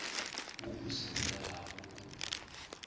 wo o se bolelago o